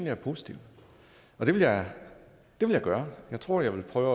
er positivt det vil jeg gøre jeg tror jeg vil prøve